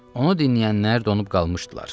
Onu dinləyənlər donub qalmışdılar.